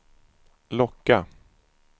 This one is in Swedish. locka